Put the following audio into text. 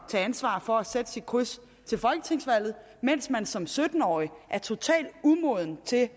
tage ansvar for at sætte sit kryds til folketingsvalget mens man som sytten årig er totalt umoden til